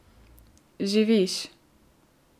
Živiš.